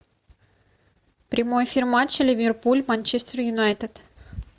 прямой эфир матча ливерпуль манчестер юнайтед